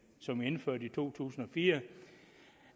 som vi indførte i to tusind og fire